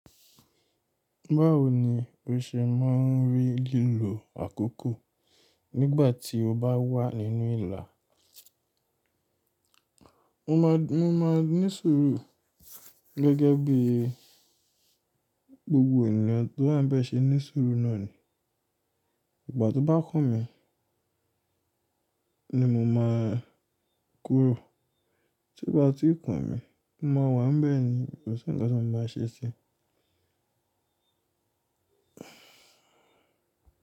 Báwo ni o ṣe máa rí lílo àkókò nígbà tí o bá wà nínú ìlà? Mo máa, mo máa ní sùúrù gẹ́gẹ́ bí gbogbo ènìyàn tó bá ń bẹ ṣe ní sùúrù náà ni. Ìgbà tó bá kàn mí ni mo máa kúrò. Tí bá tú kàn mí mo máa wà ńbẹ̀ ni kò sí ǹkan tí wọ́n bá ṣe sí i.